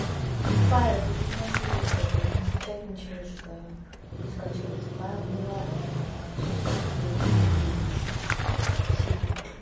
файл не могу этот ни скачать ничего что не скачивается файл ну ладно тогда сейчас что то сама придумаю напишу спасибо